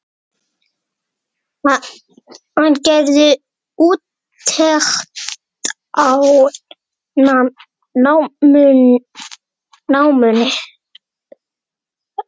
Hann gerði úttekt á náminu.